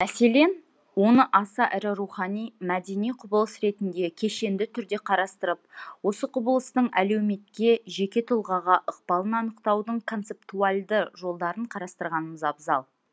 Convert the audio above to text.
мәселен оны аса ірі рухани мәдени құбылыс ретінде кешенді түрде қарастырып осы құбылыстың әлеуметке жеке тұлғаға ықпалын анықтаудың концептуальды жолдарын қарастырғанымыз абзал